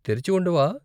తెరిచి ఉండవా?